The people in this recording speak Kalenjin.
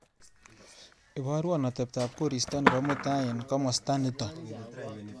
Iparwa ateptap korista nebo mutai eng komasta nito.